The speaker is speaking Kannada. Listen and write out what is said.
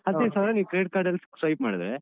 ಹದ್ನೈದು ಸಾವ್ರ ನೀವ್ Credit Card ಲ್ಲಿ swipe ಮಾಡಿದ್ರೆ.